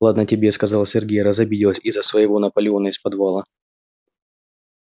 ладно тебе сказал сергей разобиделась из-за своего наполеона из подвала